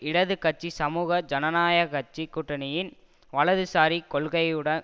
இடது கட்சிசமூக ஜனநாயக கட்சி கூட்டணியின் வலதுசாரி கொள்கையுடன்